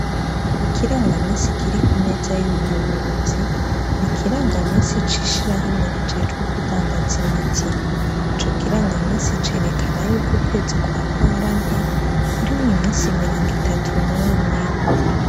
Ikirangamisi kiri kumeza y' umuyobozi ni ikirangamisi c' ishirahamwe kijejwe kudandaza imiti ico kirangamisi cerekana yuko ukwezi kwa ntwarante kurimwo imisi mirongo itatu n' umwe.